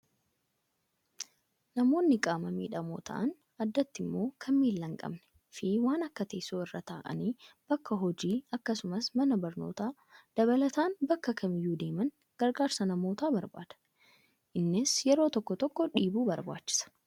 Namoonni qaama miidhamoo ta'an addatti immoo kan miila hin qabnee fi waan akka teessoo irra taa'anii bakka hojii akkasumas mana barnootaa dabalataan bakka kamiyyuu deeman gargaarsa namootaa barbaada. Innis yeroo tokko tokko dhiibuu barbaachisa.